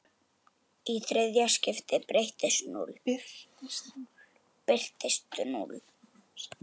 Í þriðja skiptið birtist núll.